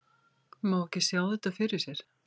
Má ekki sjá þetta fyrir sér?